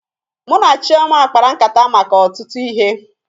Mụ na Chioma kpara nkata maka ọtụtụ ihe